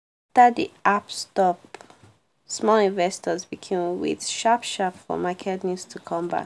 after the app stop small investors begin wait sharp sharp for market news to come back.